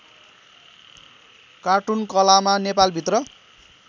कार्टुनकलामा नेपाल भित्र